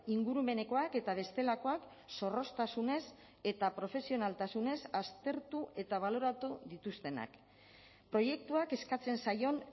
ingurumenekoak eta bestelakoak zorroztasunez eta profesionaltasunez aztertu eta baloratu dituztenak proiektuak eskatzen zaion